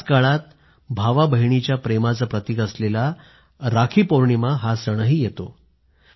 याच काळात भाऊबहिणीच्या प्रेमाचं प्रतीक असलेला राखीपौर्णिमा सणही येतो